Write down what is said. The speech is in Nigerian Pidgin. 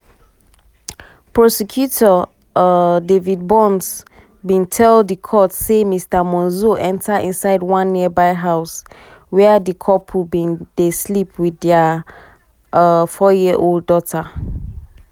prosecutor um david burns burns bin tell di court say mr monzo enta inside one nearby house wia di couple bin dey sleep wit dia um four-year-old daughter.